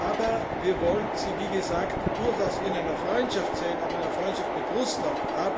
Aber wir wollen sie, wie gesagt, durchaus in einer Freundschaft sehen, auch in einer Freundschaft mit Russland.